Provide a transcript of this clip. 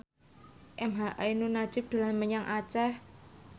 emha ainun nadjib dolan menyang Aceh